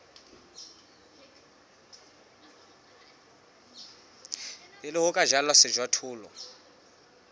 pele ho ka jalwa sejothollo